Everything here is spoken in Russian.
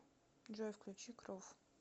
джой включи крув